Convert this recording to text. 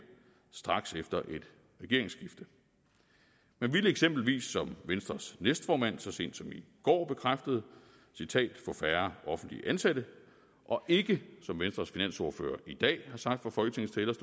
straks efter et regeringsskifte man ville eksempelvis som venstres næstformand så sent som i går bekræftede få færre offentligt ansatte og ikke som venstres finansordfører i dag har sagt fra folketingets